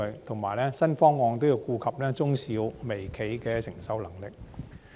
同時，新方案也要顧及中小微企的承受能力。